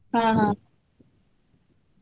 ಹಾ ಹಾ.